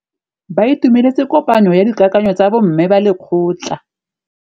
Ba itumeletse kôpanyo ya dikakanyô tsa bo mme ba lekgotla.